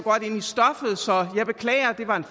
jeg beklager det var en